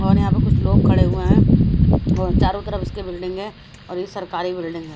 और यहां पे कुछ लोग खड़े हुए हैं चारों तरफ उसके बिल्डिंगे है और ये सरकारी बिल्डिंग है।